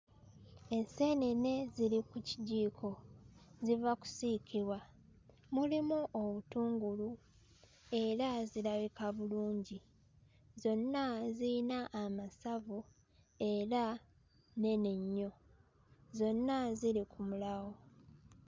Enseenene ziri ku kijiiko ziva kusiikibwa mulimu obutungulu era zirabika bulungi zonna ziyina amasavu era nnene nnyo zonna ziri ku mulawo.